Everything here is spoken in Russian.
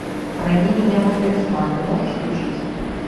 храни меня мой талисман ты можешь включить